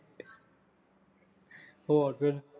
ਹੋਰ ਫੇਰ